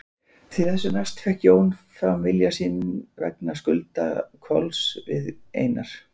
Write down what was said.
Þessu næst fékk Jón fram vilja sinn vegna skulda Kolls við Einar